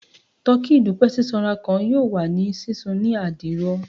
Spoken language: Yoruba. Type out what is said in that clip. Tọki idupẹ sisanra kan yoo wa ni sisun ni adiro